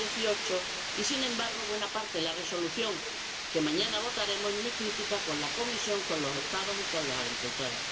2018. Sin embargo, buena parte de la Resolución que mañana votaremos es muy crítica con la Comisión, con los Estados y con los agricultores.